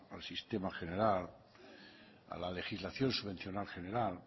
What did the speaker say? al sistema general a la legislación subvencional general